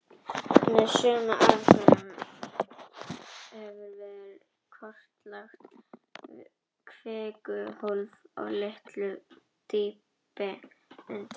Með sömu aðferðum hefur verið kortlagt kvikuhólf á litlu dýpi undir